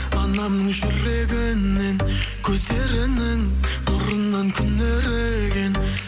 анамның жүрегінен көздерінің нұрынан күн еріген